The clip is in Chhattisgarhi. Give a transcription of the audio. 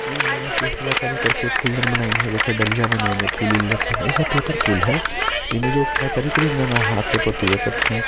ये बास के ही कला कारी करके फूलदान बनाई है डलिया बनाइन है फूल मूल रखे है ये सब पेपर फूल है ये में जो है हाथ माथ से पोत दिया करथे।